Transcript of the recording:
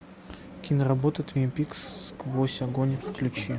киноработа твин пикс сквозь огонь включи